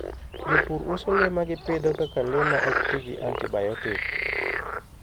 Jopur uso le ma gipidho kaka le ma ok ti gi antibiotic.